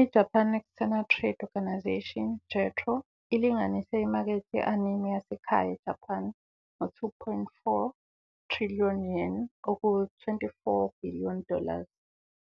IJapan External Trade Organisation, JETRO, ilinganise imakethe ye-anime yasekhaya eJapan ngo- 2.4 trillion Yen, 2.4 billion dollars,